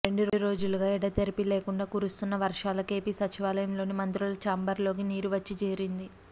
రెండు రోజులుగా ఎడతెరిపి లేకుండా కురుసున్న వర్షాలకు ఏపీ సచివాలయంలోని మంత్రుల ఛాంబర్లలోకి నీరు వచ్చి చేరింది